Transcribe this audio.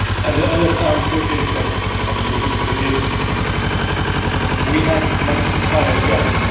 The honest answer is that actually we did not. We had much higher goals.